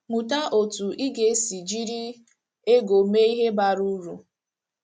Mụta otú ị ga - esi jiri ego mee ihe bara uru.